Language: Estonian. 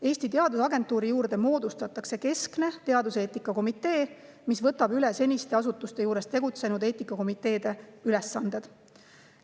Eesti Teadusagentuuri juurde moodustatakse keskne teaduseetika komitee, mis võtab üle seniste eri asutuste juures tegutsenud eetikakomiteede ülesanded.